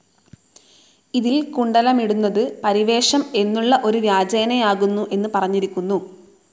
ഇതിൽ കുണ്ടലമിടുന്നത് പരിവേഷം എന്നുള്ള ഒരു വ്യാജേനയാകുന്നു എന്ന് പറഞ്ഞിരിക്കുന്നു.